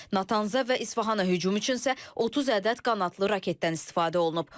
Natansə və İsfahana hücum üçün isə 30 ədəd qanadlı raketdən istifadə olunub.